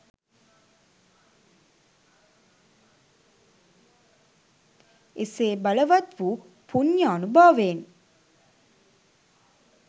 එසේ බලවත් වූ පුණ්‍යානුභාවයෙන්